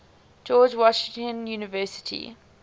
george washington university